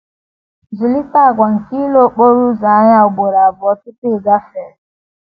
Zụlite àgwà nke ile okporo ụzọ anya ugboro abụọ tupu ị gafee.